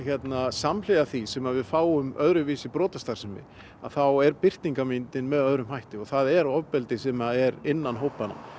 samhliða því sem við fáum öðruvísi brotastarfsemi þá er birtingarmyndin með öðrum hætti og það er ofbeldi sem er innan hópanna